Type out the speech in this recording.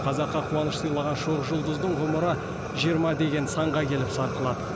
қазаққа қуаныш сыйлаған шоқ жұлдыздың ғұмыры жиырма деген санға келіп сарқылады